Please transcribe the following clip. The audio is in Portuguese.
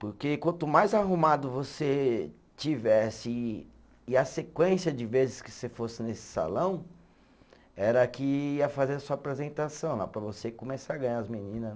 Porque quanto mais arrumado você estivesse e e a sequência de vezes que você fosse nesse salão, era que ia fazer a sua apresentação, lá para você começar a ganhar as menina né.